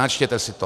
Načtěte si to!